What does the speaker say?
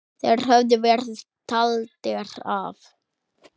Þeir höfðu verið taldir af.